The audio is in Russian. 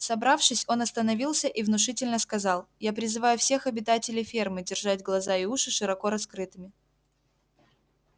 собравшись он остановился и внушительно сказал я призываю всех обитателей фермы держать глаза и уши широко раскрытыми